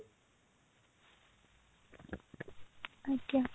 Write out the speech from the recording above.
ଆଜ୍ଞା